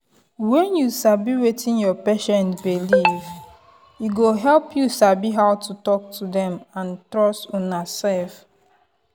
when you sabi wetin your patient belief e go help you sabi how to talk to them and trust unasef.